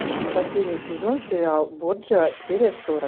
последний сезон сериал борджиа серия сорок